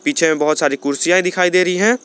पीछे में बहुत सारी कुर्सियां दिखाई दे रही हैं।